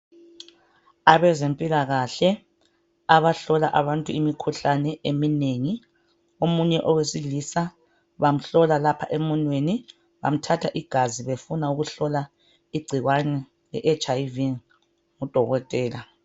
Abezempilakahle abahlola abantu imikhuhlane eminengi. Omunye owesilisa bamhlola lapha emunweni, bamthatha igazi befuna ukuhlola igcikwane le HIV ngudokotela.